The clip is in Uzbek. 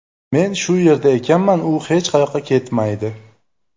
Men shu yerda ekanman, u hech qayoqqa ketmaydi.